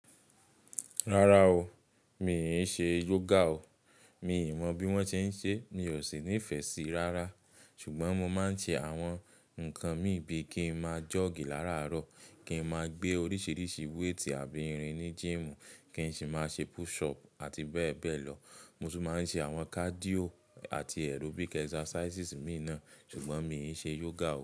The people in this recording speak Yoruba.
Rárá o, mi i ṣe yoga o. Mi ò mọ̀ bí wón ṣe ń ṣe, mi ò sì nífẹ̀ẹ́ sí i rárá. Ṣùgbọ́n mo máa ń ṣe àwọn nǹkan mí bíi kí n máa jogi láàrárọ̀, kí n máa gbé oríṣiríṣi weight àbí irin ní gym, kí n sì máa ṣe push up àti bẹ́ẹ̀ bẹ́ẹ̀ lọ. Mo tún máa ń ṣe àwọn cardio àti aerobic exercises mìíràn, ṣùgbọ́n mi ò ṣe yoga.